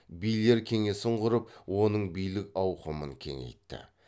билер кеңесін құрып оның билік ауқымын кеңейтті